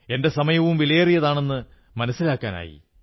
എന്റെ സമയവും വിലയേറിയതാണെന്ന് മനസ്സിലാക്കാനായി